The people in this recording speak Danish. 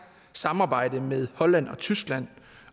samarbejde med holland og tyskland